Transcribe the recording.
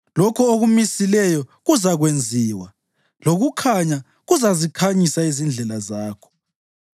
Lokho okumisileyo kuzakwenziwa, lokukhanya kuzazikhanyisa izindlela zakho.